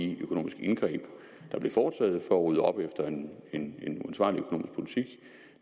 de økonomiske indgreb der blev foretaget for at rydde op efter en en uansvarlig økonomisk politik